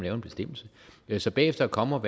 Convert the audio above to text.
en bestemmelse så bagefter at komme